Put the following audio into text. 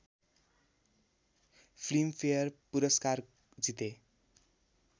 Filmfare पुरस्कार जिते